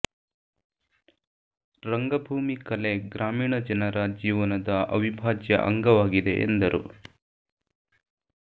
ರಂಗಭೂಮಿ ಕಲೆ ಗ್ರಾಮೀಣ ಜನರ ಜೀವನದ ಅವಿಭಾಜ್ಯ ಅಂಗವಾಗಿದೆ ಎಂದರು